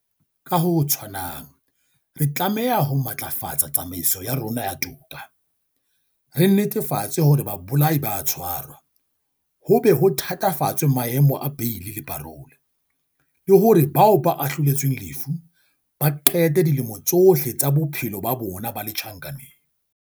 Ka ho tshwanang, re tlameha ho matlafatsa tsamaiso ya rona ya toka, re netefatse hore babolai ba a tshwarwa, ho be ho thatafatswe maemo a beili le parola, le hore bao ba ahloletsweng lefu ba qete dilemo tsohle tsa bophelo ba bona ba le tjhankaneng.